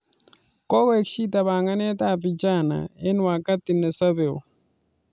Kokoek shida panganet ab vijana eng wakati ne sapeo